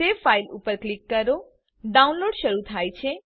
save file ઉપર click કરો download શરુ થાય છે